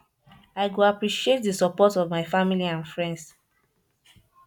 i go appreciate di support of my family and friends